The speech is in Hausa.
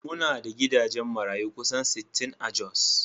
Muna da gidajen marayu kusan sittin a Jos